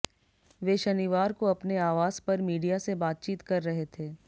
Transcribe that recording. वे शनिवार को अपने आवास पर मीडिया से बातचीत कर रहे थे